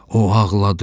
O ağladı.